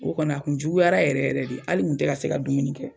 O kɔni a tun juguyara yɛrɛ yɛrɛ de hali n tun tɛ ka se ka dumuni kɛ.